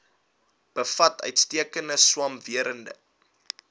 bevat uitstekende swamwerende